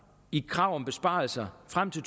i krav om besparelser frem til